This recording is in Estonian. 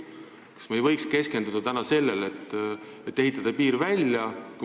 Kas me ei võiks keskenduda täna sellele, et piir välja ehitada?